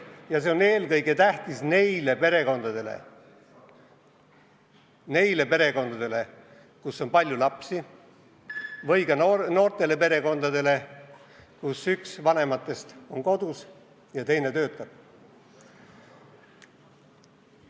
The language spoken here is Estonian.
Ja see on eelkõige tähtis neile perekondadele, kus on palju lapsi, samuti noortele perekondadele, kus üks vanematest on kodus ja teine töötab.